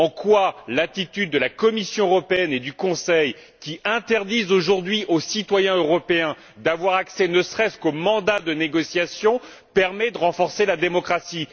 En quoi l'attitude de la Commission européenne et du Conseil, qui interdisent aujourd'hui aux citoyens européens d'avoir accès ne serait ce qu'au mandat de négociation, permet elle de renforcer la démocratie?